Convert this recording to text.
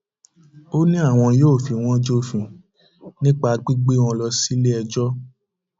ó ní àwọn yóò fi wọn jófin nípa gbígbé wọn lọ síléẹjọ